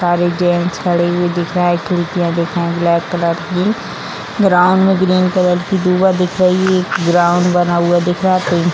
सारे जेंट्स खड़े हुए दिख रहे है खिड़कियां दिख रही है ब्लैक कलर की ग्राउंड में ग्रीन कलर की धुआ दिख रही है एक ग्राउंड बना हुआ दिख रहा है पेड़ --